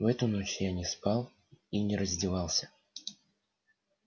в эту ночь я не спал и не раздевался